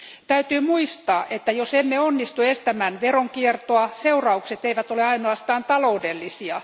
Täytyy muistaa, että jos emme onnistu estämään veronkiertoa, seuraukset eivät ole ainoastaan taloudellisia.